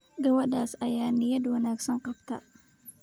Gabadhaas ayaa niyadda wanaagsan qabta